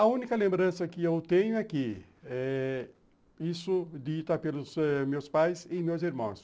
A única lembrança que eu tenho aqui é isso dito ãh pelos meus pais e meus irmãos.